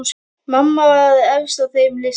Mamma var efst á þeim lista.